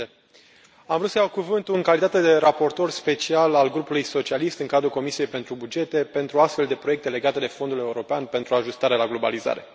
Domnule președinte, am vrut să iau cuvântul în calitate de raportor special al Grupului socialist în cadrul Comisiei pentru bugete pentru astfel de proiecte legate de Fondul european pentru ajustare la globalizare.